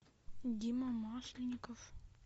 дима масленников